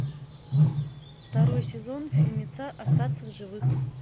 второй сезон фильмеца остаться в живых